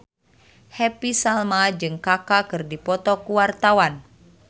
Happy Salma jeung Kaka keur dipoto ku wartawan